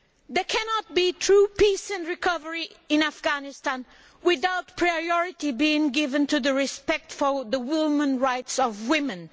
There cannot be true peace and recovery in Afghanistan without priority being given to respecting the human rights of women.